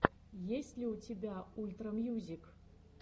есть ли у тебя ультра мьюзик